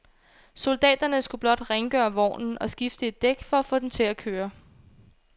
Soldaterne skulle blot rengøre vognen og skifte et dæk for at få den til at køre.